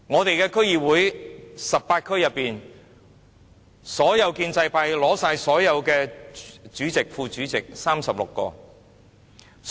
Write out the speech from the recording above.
在18區的區議會，建制派取得所有主席、副主席的36個席位。